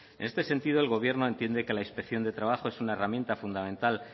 en este sentido el gobierno entiende que la inspección de trabajo es una herramienta fundamental